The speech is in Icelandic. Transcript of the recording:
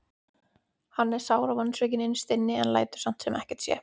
Hann er sár og vonsvikinn innst inni en lætur samt sem ekkert sé.